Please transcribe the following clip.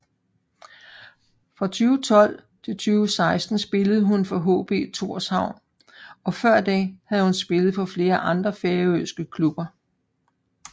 Fra 2012 til 2016 spillede hun for HB Tórshavn og før det har hun spillet for flere andre færøske klubber